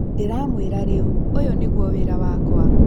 Ndĩramwĩra rĩu ũyũnĩguo wĩra wakwa.